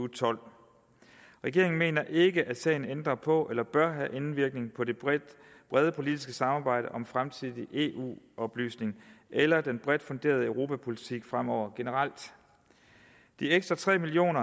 tolv regeringen mener ikke at sagen ændrer på eller bør have indvirkning på det brede politiske samarbejde om fremtidig eu oplysning eller den bredt funderede europapolitik fremover generelt de ekstra tre million